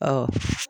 Ɔ